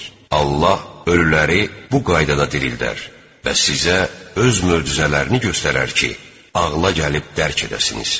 Allah ölüləri bu qaydada dirildər və sizə öz möcüzələrini göstərər ki, ağla gəlib dərk edəsiniz.